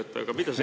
Ei käi üldse.